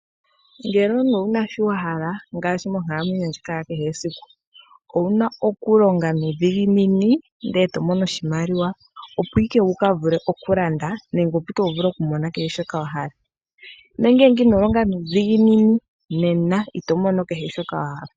Ngele omuntu owu na shoka wa hala okwiilikolela monkalamwenyo yoye ya kehe esiku, nena owu na okulonga nuudhiginini opo wu mone oshimaliwa, ngoye wu vule okulanda nenge okumona shoka wa hala. Ngele ino longa nuudhiginini, nena ito mono kehe shoka wa hala.